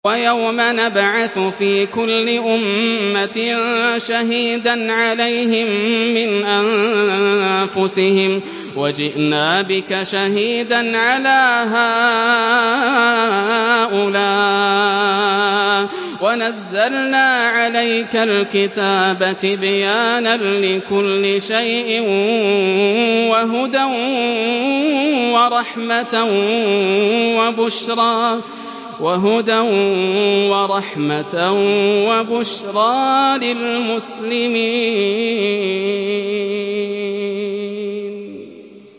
وَيَوْمَ نَبْعَثُ فِي كُلِّ أُمَّةٍ شَهِيدًا عَلَيْهِم مِّنْ أَنفُسِهِمْ ۖ وَجِئْنَا بِكَ شَهِيدًا عَلَىٰ هَٰؤُلَاءِ ۚ وَنَزَّلْنَا عَلَيْكَ الْكِتَابَ تِبْيَانًا لِّكُلِّ شَيْءٍ وَهُدًى وَرَحْمَةً وَبُشْرَىٰ لِلْمُسْلِمِينَ